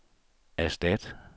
erstat